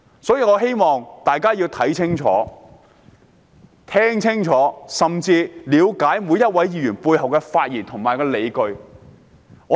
所以，我希望市民看清楚和聽清楚，以了解每位議員發言背後的理據。